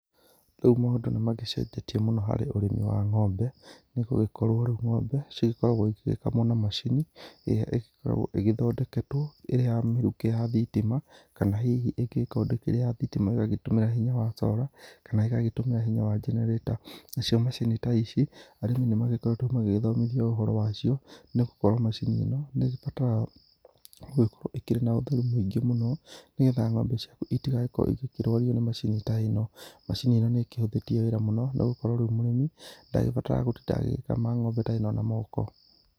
Rĩu maũndũ nĩ magĩcenjetie mũno harĩ ũrĩmi wa ng'ombe nĩ gũgĩkorwo rĩu ng'ombe ikoragwo igĩgĩkamwo na macini, ĩrĩa ĩgĩkoragwo igĩthondetwo ĩrĩ ya mĩrukĩ ya thitima, kana hihi ĩngĩgĩkorwo ndĩrĩ ya thitima, ĩgagĩ tũmĩra hinya wa solar, kana ĩgagĩtũmĩra hinya wa generator. Nacio macini ta ici, arĩmi nĩ magĩkoretwo magĩgĩthomithio ũhoro wa cio, nĩ gũkorwo macini ĩno nĩ ĩbataraga gũgĩkorwo ĩkĩrĩ na ũtheru mũingĩ mũno, nĩgetha ng'ombe ciaku itigagĩkorwo ikĩrwario nĩ macini ta ĩno. Macini ĩno nĩ ĩkĩhũthĩtie wĩra mũno nĩ gũkorwo rĩu mũrĩmi ndarĩbataraga gũtinda agĩkama ng'ombe ta ĩno na moko.